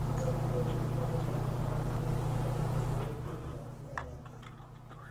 Tekruok kod nyalo mag nyithindo opogore kuom nyathi ka nyathi.